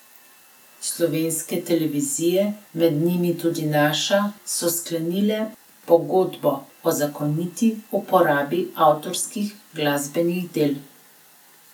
Slovenske televizije, med njimi tudi naša, so sklenile pogodbo o zakoniti uporabi avtorskih glasbenih del.